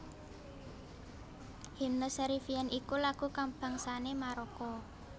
Hymne Cherifien iku lagu kabangsané Maroko